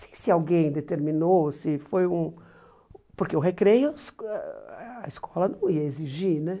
Nem sei se alguém determinou, se foi um... Porque o recreio, esco ãh a escola não ia exigir, né?